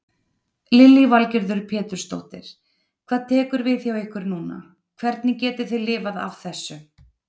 Lillý Valgerður Pétursdóttir: Hvað tekur við hjá ykkur núna, hvernig getið þið lifað af þessu?